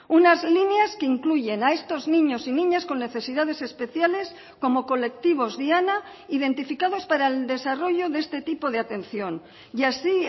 unas líneas que incluyen a estos niños y niñas con necesidades especiales como colectivos diana identificados para el desarrollo de este tipo de atención y así